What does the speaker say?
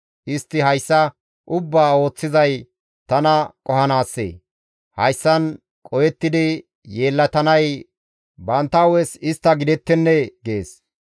Istti hayssa ubbaa ooththizay tana qohanaasee? Hayssan qohettidi yeellatanay bantta hu7es istta gidettennee?» gides.